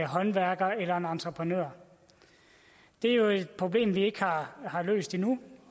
håndværker eller en entreprenør det er jo et problem vi ikke har løst endnu